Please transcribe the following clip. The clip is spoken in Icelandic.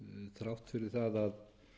þrátt fyrir það að